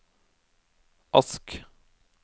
Ask